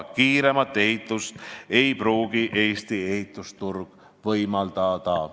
Kiiremat ehitust ei pruugi Eesti ehitusturg võimaldada.